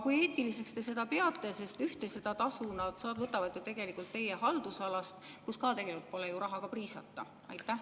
Kui eetiliseks te seda peate, sest ühte tasu nad võtavad ju tegelikult teie haldusalast, kus ka tegelikult pole ju rahaga priisata?